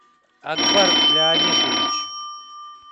акбар леонидович